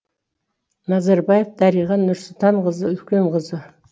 назарбаев дариға нұрсұлтанқызы үлкен қызы